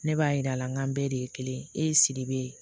Ne b'a yira a la n k'an bɛɛ de ye kelen ye e ye sidibe ye